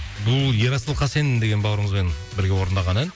бұл ерасыл хасен деген бауырымызбен бірге орындаған ән